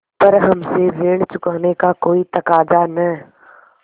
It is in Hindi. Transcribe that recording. पर हमसे ऋण चुकाने का कोई तकाजा न